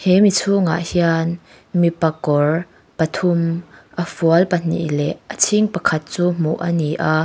chhungah hian mipa kawr pathum a fual pahnih leh a chhing pakhat chu hmuh a ni a.